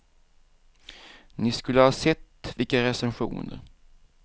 Ni skulle ha sett vilka recensioner.